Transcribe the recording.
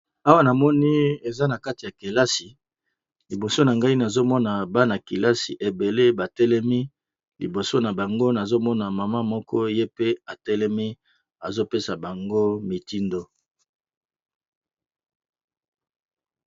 Awa namoni , na kati ya kelasi liboso na ngai nazomona bana-kelasi ebele batelemi liboso na bango nazomona mama moko atelemi azopesa bango mitindo.